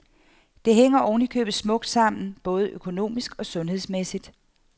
Det hænger oven i købet smukt sammen både økonomisk og sundhedsmæssigt.